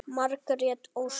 Margrét Ósk.